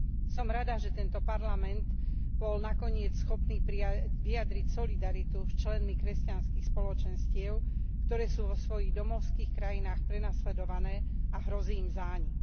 Som rada, že tento parlament bol nakoniec schopný vyjadriť solidaritu s členmi kresťanských spoločenstiev, ktoré sú vo svojich domovských krajinách prenasledované a hrozí im zánik.